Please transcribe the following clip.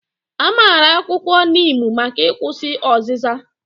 A maara akwụkwọ niimu maka ịkwụsị ọzịza